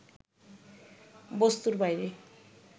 বস্তুর বাইরে